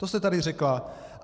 To jste tady řekla.